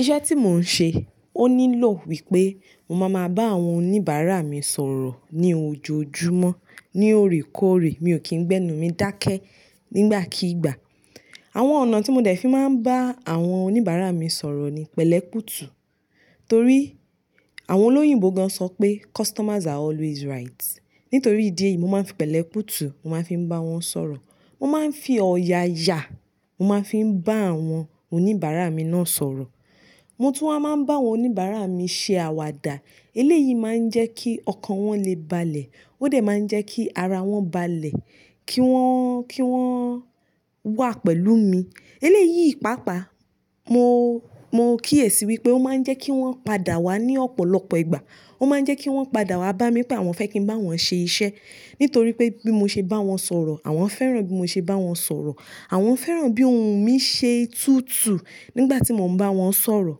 Iṣẹ́ tí mò ń ṣe ó nílò wípé mo máa máa bá àwọn oníbàárà mi sọ̀rọ̀ ní ojoojúmọ́ ní òrékọ́òré. Mi ò kí ń gbẹ́nú mi dákẹ́ nígbàkígbà. Àwọn ọ̀nà tí mo dẹ̀ fi máa ń bá àwọn oníbàárà mi sọ̀rọ̀ ni pẹ̀lẹ́ kutu. Torí àwọn olóyìnbó gan sọ pé customers are always right. Nítorí ìdí èyí, mo máa ń fi pẹ̀lẹ́ pútù, mo máa ń fi bá wọn sọ̀rọ̀. Mo máa ń fi ọ̀yàyà, mo máa ń fi bá àwọn oníbàárà mi náà sọ̀rọ̀. Mo tún wa máa ń bá àwọn oníbàárà mi ṣe àwàdà. Eléyìí máa ń jẹ́ kí ọkàn wọn lè balẹ̀. Ó dẹ̀ máa ń jẹ́ kí ara wọn balẹ̀, kí wọ́n, kí wọ́n wà pẹ̀lú mi. Eléyìí, ìpápa, mo, mo kíyèsi wípé ó máa ń jẹ́ kí wọ́n padà wá ní ọ̀pọ̀lọpọ̀ ìgbà. Ó máa ń jẹ́ kí wọ́n padà wá bá mi pé àwọn fẹ́ kí ń bá wọn ṣe iṣẹ́. Nítorí pé bí mo ṣe bá wọn sọ̀rọ̀, àwọn fẹ́ràn bí mo ṣe bá wọn sọ̀rọ̀. Àwọn fẹ́ràn bí ohùn mi ṣe tutù nígbà tí mò ń bá wọn sọ̀rọ̀.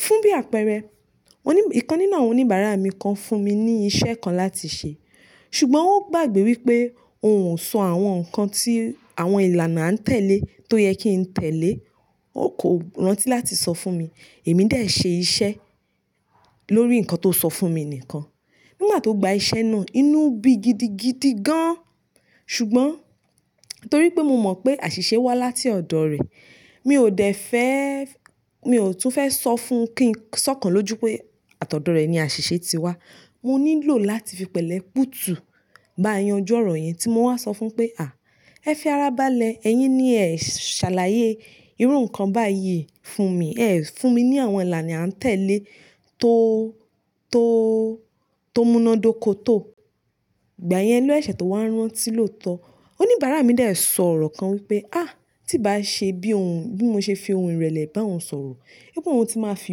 Fún bí àpẹẹrẹ, oní-- ìkànnì náà, oníbàárà mi kan fún mi ní iṣẹ́ kan láti ṣe. Ṣùgbọ́n ó gbàgbé wípé òun ò sọ àwọn nǹkan tí àwọn ìlànà á ń tẹ̀lé tó yẹ kí ń tẹ̀lé. Ó kò rántí láti sọ fún mi. Èmi de ṣe iṣẹ́ lórí nǹkan tó sọ fún mi nìkan. Nígbà tó gba iṣẹ́ náà, inú bí gidigidi gan. Ṣùgbọ́n torí pé mo mọ̀ pé àṣìṣe wá láti ọ̀dọ̀ rẹ̀, mi ò dẹ̀ fẹ́, mi ò tún fẹ́ sọ fún kí ń, sọ́kàn lójú pé àtọ̀dọ̀ rẹ̀ ni àṣìṣe ti wá. Mo nílò láti fi pẹ̀lẹ́ pútù bá a yanjú ọ̀rọ̀ yẹn tí mo wa sọ fún pé, "à, ẹ fẹ́ ara balẹ̀, ẹyín ni ẹ ṣàlàyé irú nǹkan báyìí fún mi. Ẹ fún mi ní àwọn ìlànà à ń tẹ̀lé tó, tó, tó múná dóko tó." Ìgbà yẹn ló sẹ̀ṣẹ̀ tó wá rántí lóòótọ́. Oníbàárà mi de sọ̀rọ̀ kan wípé, "á, tí ì bá ṣe bí òun, bí mo ṣe fi ohun ìrẹ̀lẹ̀ bá òun sọ̀rọ̀, pé òun ti máa fi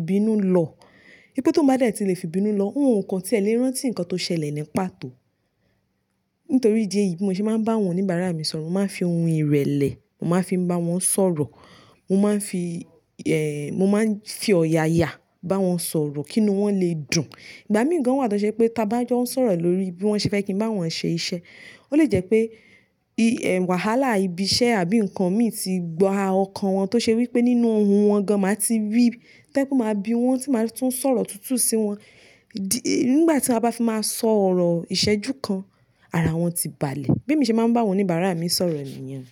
ibinu lọ. Pé tóun bá dẹ̀ ti lè fi ibinu lọ, òun 9 o kan tí ẹ lè rántí nǹkan tó ṣẹlẹ̀ nípa tó." Nítorí ìdí èyí, bí mo ṣe máa ń bá àwọn oníbàárà mi sọ̀rọ̀, mo máa ń fi ohun ìrẹ̀lẹ̀, mo máa ń fi bá wọn sọ̀rọ̀. Mo máa ń fi, eh, mo máa ń fi ọ̀yàyà bá wọn sọ̀rọ̀ kí inú wọn lè dùn. Ìgbà mìíràn gan wà tó ṣe pé tá bá jọ ń sọ̀rọ̀ lórí bí wọ́n ṣe fẹ́ kí ń bá wọn ṣe iṣẹ́, ó lè jẹ́ pé i-- wàhálà ibi iṣẹ́ àbí nǹkan mì tí gbaa ọkàn wọn tó ṣe wípé nínú ohùn wọn gan, màá ti rí pé kí ó má bi wọ́n, tí màá tún sọ̀rọ̀ tútù sí wọn. Dí-- nígbà tí a bá fi máa sọ̀rọ̀ ìṣẹ́jú kan, ara wọn ti balẹ̀. Be mi ṣe máa ń bá àwọn oníbàárà mi sọ̀rọ̀ nìyẹn.